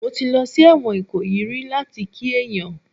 Mo ti lọ sí ẹ̀wọ̀n Ìkòyí rí láti kí èèyàn